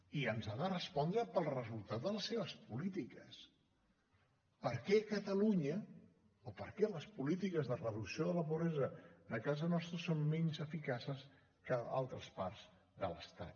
i ens ha de respondre pel resultat de les seves polítiques per què a catalunya o per què les polítiques de reducció de la pobresa de casa nostra són menys eficaces que a altres parts de l’estat